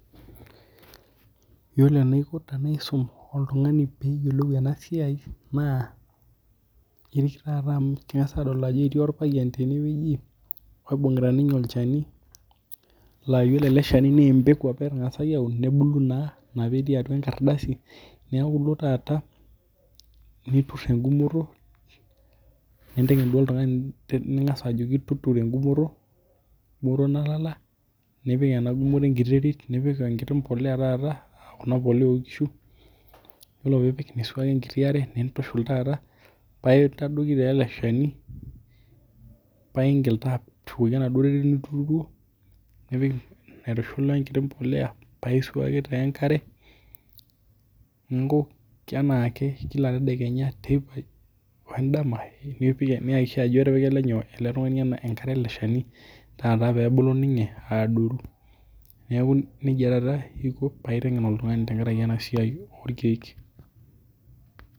yiolo enaiko tenaisum oltung'ani peyiolou ena siai naa ipik taata amu king'as adol ajo etii orpayian tenewueji oibung'ita ninye olchani laa yiolo ele shani naa empeku apa etang'asaki aun nebulu naa ina petii atua enkardasi neku ilo taata niturr engumoto ninteng'en duo oltung'ani ning'as ajoki tuturo engumoto, engumoto nalala nipik ena gumoto enkiti terit nipik enkiti mpoleya taata akuna poleya onkishu yiolo piipik nisuaki enkiti are nintushul taata paintadoiki taa ele shani paingil taa ashukoki enaduo terit nituturuo nipik aitushul wenkiti mpoleya paisuaki taa enkare ninko kenaake kia tedakenya teipa wendam nipi niyakikisha ajo etipika ele nyoo ele tung'ani enkare ele shani taata pebulu ninye aadoru niaku nejia taata aiko paiteng'en oltung'ani tenkaraki ena siai orkiek.